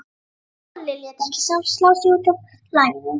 En Halli lét ekki slá sig út af laginu.